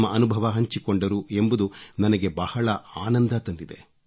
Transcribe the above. ತಮ್ಮ ಅನುಭವ ಹಂಚಿಕೊಂಡರು ಎಂಬುದು ನನಗೆ ಬಹಳ ಆನಂದ ತಂದಿದೆ